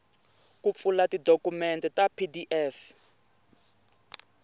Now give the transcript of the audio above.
ku pfula tidokumende ta pdf